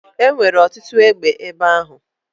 E nwere ọtụtụ egbe ebe ahụ?